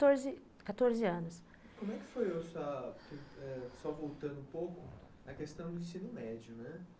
quatorze, quatorze anos. Como é que foi, só voltando um pouco, a questão do ensino médio, né?